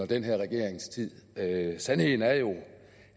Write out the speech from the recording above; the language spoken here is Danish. den her regerings tid er en sandheden er jo